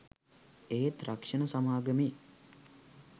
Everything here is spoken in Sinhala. ඒත් රක්ෂණ සමාගමේ